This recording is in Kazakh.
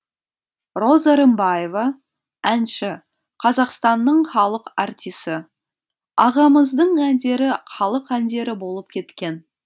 роза рымбаева әнші қазақстанның халық артисі ағамыздың әндері халық әндері болып кеткен